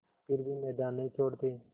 फिर भी मैदान नहीं छोड़ते